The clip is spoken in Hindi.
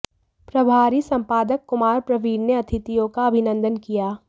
प्रभारी संपादक कुमार प्रवीण ने अतिथियों का अभिनंदन किया